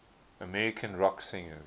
american rock singers